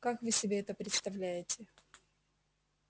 как вы себе это представляете